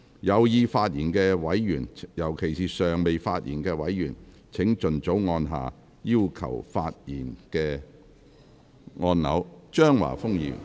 有意發言的委員，尤其是尚未發言的委員，請盡早按下"要求發言"按鈕。